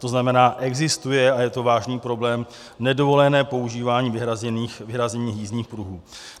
To znamená, existuje - a je to vážný problém - nedovolené používání vyhrazených jízdních pruhů.